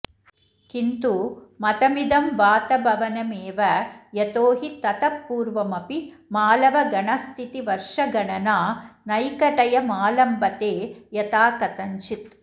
किन्तु मतमिदं वातभवनमेव यतो हि ततः पूर्वमपि मालवगणस्थितिवर्षगणना नैकटयमालम्बते यथाकथञ्चित्